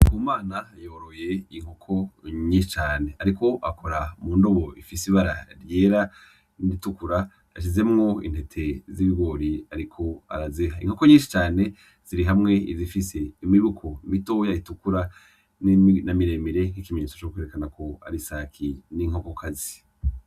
Ku mana hayoroye inkoko nyinshi cane, ariko akora mu ndobo ifise ibara ryera niritukura ashizemwo intete z'ibigori, ariko arazeha inkoko nyinshi cane ziri hamwe izifise imibuku mitoya itukura namiremere nk'ikimenetso c' kuwerekana ku arisaki n'inkokokazi.